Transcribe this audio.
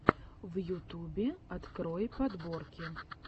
в ютубе открой подборки